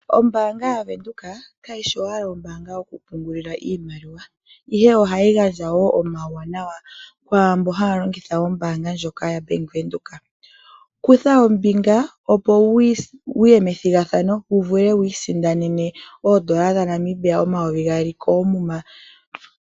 Ombaanga yaWindhoek kayi shi owala yokupungula iimaliwa ihe ohayi gandja woo omauwanawa kwaambo haya longitha ombaanga ndjoka. Kutha ombinga opo wu ye methigathano wu vule wiisindanene oodola dhaNamibia omayovi gaali koomuma.